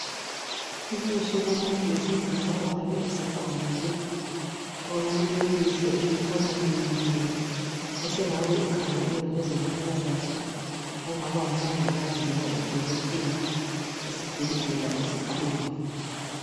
ubuso bomuntu wesilisa ongabe esekhulile olelihlo elikhanya lilimele osengabe ekhanglwe ngezempilakahle ongaba ngu mongikazi loba u dokotela esibhedlela esikhulu